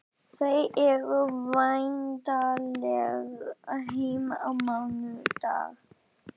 Þau eru væntanleg heim á mánudag.